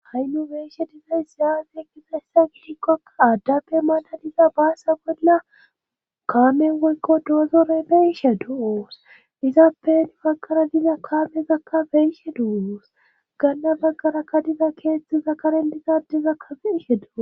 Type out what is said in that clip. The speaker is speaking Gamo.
Ha'i nu beyishe dizays zaafe ekkisa essa gidikkokka aaddafe maala dizaa baasa bolla kaamen woykko doozorey beyishe duoos dizaappen baggara diza kaamezakka beyiishe du7uoos ganna baggara kadiza keeththi zakaren dizaadezakka feishe duo